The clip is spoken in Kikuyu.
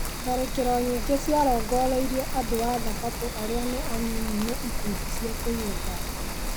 Tharĩkĩro nyĩngĩ cia rongoreirie andũa thabatũarĩa nĩ anyĩnyĩ nĩ ikundi cia kũiga thayũ.